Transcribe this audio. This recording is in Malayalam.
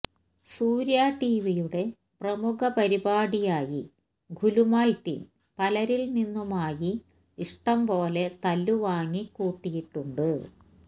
സൂര്യ ടിവിയുടെ പ്രമുഖ പരിപാടിയായി ഗുലുമാൽ ടീം പലരിൽ നിന്നുമായി ഇഷ്ടംപോലെ തല്ലുവാങ്ങി കൂട്ടിയിട്ടുണ്ട്